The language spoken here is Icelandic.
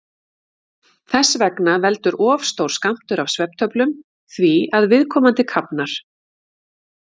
Þess vegna veldur of stór skammtur af svefntöflum því að viðkomandi kafnar.